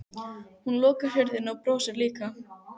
Hún lokar hurðinni og brosir líka.